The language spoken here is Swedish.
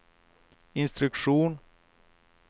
instruktion